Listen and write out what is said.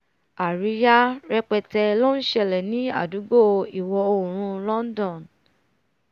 àríyá rẹpẹtẹ ló ṣẹlẹ̀ ní àdúgbò ìwọ̀-oòrùn london